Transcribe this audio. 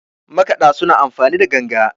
makaɗa suna amfani ganga